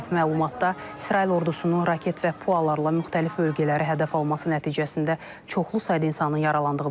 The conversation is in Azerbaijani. Məlumatda İsrail ordusunun raket və pualarla müxtəlif bölgələrə hədəf alması nəticəsində çoxlu sayda insanın yaralandığı bildirilir.